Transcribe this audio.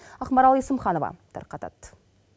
ақмарал есімханова тарқатады